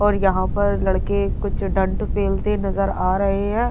और यहां पर लड़के कुछ डाँट पेलते नजर आ रहे हैं।